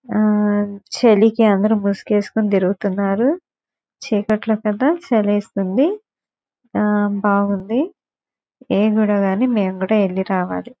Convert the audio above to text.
ఆ చలికి అందరూ ముసుగేసుకుని తిరుగుతున్నారు చీకట్లో కదా చలిస్తుంది ఆ బాగుంది మెం కూడా ఇల్లి రావాలి.